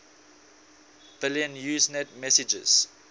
billion usenet messages